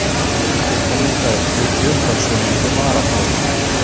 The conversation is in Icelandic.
Piparminta er kryddjurt af svonefndri varablómaætt.